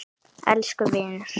Elsku vinur.